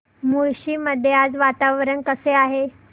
मुळशी मध्ये आज वातावरण कसे आहे